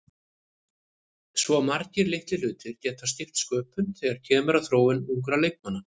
Svo margir litlir hlutir geta skipt sköpum þegar kemur að þróun ungra leikmanna.